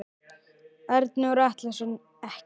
Arnór Atlason ekkert.